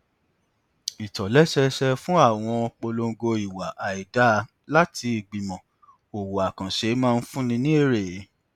ìtòlẹsẹẹsẹ fún àwọn polongo ìwà àìdáa láti ìgbìmọ òwò àkànṣe máa fúnni ní èrè